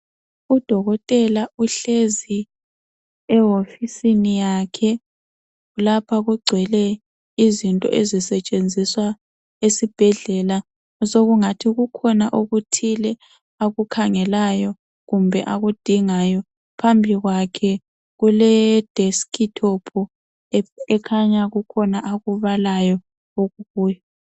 Udokotela uhlezi ewofisini yakhe. Lapha kugcwele izinto ezisetshenziswa esibhedlela osokungathi kukhona okuthile akukhangayo lona akudingayo. Phambi kwakhe kule desktop ekhanya kukhona akubalayo okukuyo.